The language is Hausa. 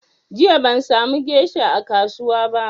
Jiya ban sa mu gesha a kasuwa ba